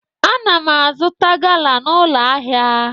Ana m azụta Gala n'ụlọ ahịa.